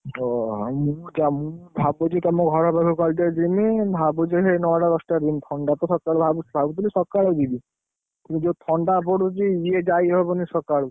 ଓହୋ ମୁଁ ଭାବୁଛି ତମ ଘର ଫର କାଲି ଟିକେ ଯିବି, ଭାବୁଛି ସେଇ ନଅଟା ଦଶଟାରେ ଯିବି। ଥଣ୍ଡା ତ ସକାଳେ ଭାବୁଥିଲି ସକାଳେ ଯିବି। ଏ ଯୋଉ ଥଣ୍ଡା ପଡୁଛି, ଇଏ ଯାଇ ହବନି ସକାଳୁ।